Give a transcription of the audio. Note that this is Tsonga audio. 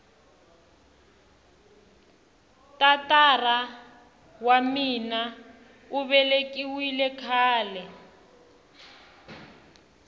tatara wa mina uvelekiwile khale